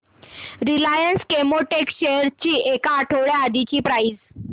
Reliance Chemotex shares ची एक आठवड्या आधीची प्राइस